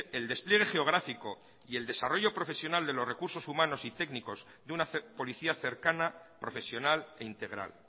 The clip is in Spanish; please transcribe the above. el despliegue geográfico y el desarrollo profesional de los recursos humanos y técnicos de una policía cercana profesional e integral